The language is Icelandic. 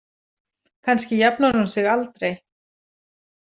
Kannski jafnar hún sig aldrei.